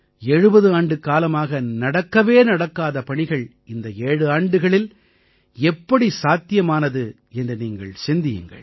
70 ஆண்டுக்காலமாக நடக்கவே நடக்காத பணிகள் இந்த ஏழாண்டுகளில் எப்படி சாத்தியமானது என்று நீங்கள் சிந்தியுங்கள்